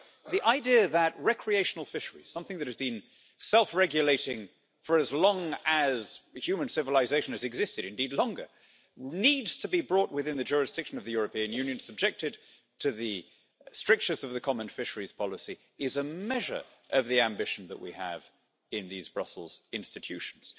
The idea that recreational fisheries something that has been self-regulating for as long as human civilisation has existed, or indeed longer needs to be brought within the jurisdiction of the European Union and subjected to the strictures of the common fisheries policy is a measure of the ambition that we have in these Brussels institutions.